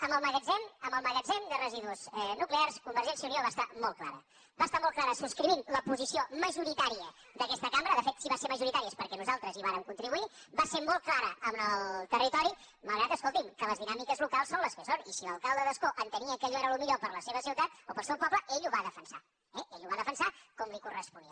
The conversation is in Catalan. escolti amb el magatzem de residus nuclears convergència i unió va ser molt clara va ser molt clara subscrivint la posició majoritària d’aquesta cambra de fet si va ser majoritària és perquè nosaltres hi vàrem contribuir va ser molt clara amb el territori malgrat escolti’m que les dinàmiques locals són les que són i si l’alcalde d’ascó entenia que allò era el millor per a la seva ciutat o per al seu poble ell ho va defensar eh ell ho va defensar com li corresponia